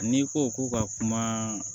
N'i ko k'u ka kuma